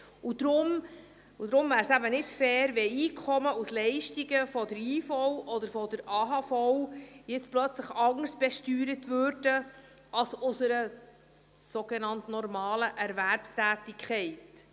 Es wäre nicht fair, wenn Einkommen aus Leistungen der IV oder der AHV jetzt plötzlich anderes besteuert würden als aus einer sogenannt normalen Erwerbstätigkeit.